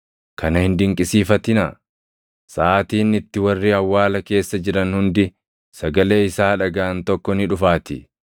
“Kana hin dinqisiifatinaa; saʼaatiin itti warri awwaala keessa jiran hundi sagalee isaa dhagaʼan tokko ni dhufaatii.